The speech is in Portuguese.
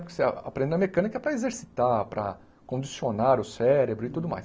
Porque você aprende na mecânica para exercitar, para condicionar o cérebro e tudo mais.